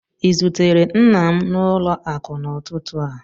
I zutere nna m n'ụlọ akụ n'ụtụtụ a?